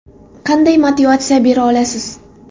Qanday motivatsiya bera olasiz?